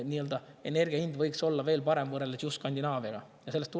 Nii et meie energia hind võiks võrreldes just Skandinaaviaga olla veel parem.